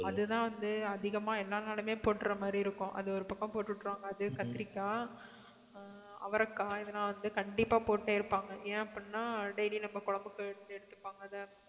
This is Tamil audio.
அதுதான் வந்து அதிகமா எல்லா நாளுமே போட்டுற மாதிரி இருக்கும் அது ஒரு பக்கம் போட்டு விட்டிடுவாங்க அது கத்தரிக்காய் அஹ் அவரைக்காய் இதெல்லாம் வந்து கண்டிப்பா போட்டுட்டே இருப்பாங்க ஏன் அப்படின்னா daily நம்ம குழம்புக்கு வந்து எடுத்துப்பாங்க அதை